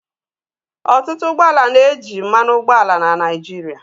Ọtụtụ ụgbọ ala na-eji mmanụ ụgbọala na Naịjirịa.